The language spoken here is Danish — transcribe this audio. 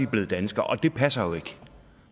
blevet danskere og det passer jo ikke